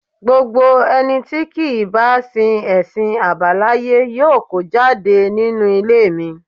Gbogbo ẹni tí kì í bá sin ẹ̀sìn àbáláyé yóò kó jáde nínú ilé mi